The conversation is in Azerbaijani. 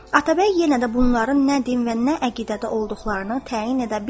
Atabəy yenə də bunların nə din və nə əqidədə olduqlarını təyin edə bilmədi.